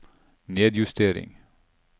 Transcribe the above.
nedjustering